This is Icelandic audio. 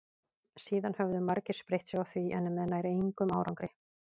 síðan höfðu margir spreytt sig á því en með nær engum árangri